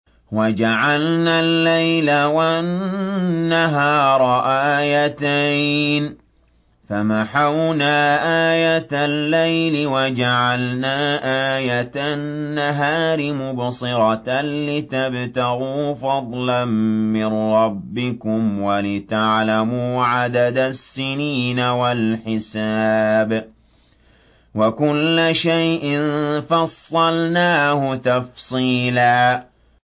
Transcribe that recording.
وَجَعَلْنَا اللَّيْلَ وَالنَّهَارَ آيَتَيْنِ ۖ فَمَحَوْنَا آيَةَ اللَّيْلِ وَجَعَلْنَا آيَةَ النَّهَارِ مُبْصِرَةً لِّتَبْتَغُوا فَضْلًا مِّن رَّبِّكُمْ وَلِتَعْلَمُوا عَدَدَ السِّنِينَ وَالْحِسَابَ ۚ وَكُلَّ شَيْءٍ فَصَّلْنَاهُ تَفْصِيلًا